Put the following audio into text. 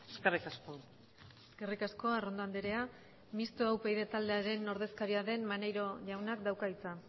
eskerrik asko eskerrik asko arrondo andrea mistoa upyd taldearen ordezkaria den maneiro jaunak dauka hitza